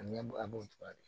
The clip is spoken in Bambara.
A ɲɛ a b'o cogoya de